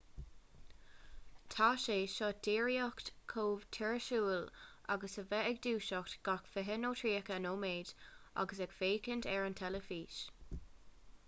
tá sé seo díreach chomh tuirsiúil agus a bheith ag dúiseacht gach fiche nó tríocha nóiméad agus ag féachaint ar an teilifís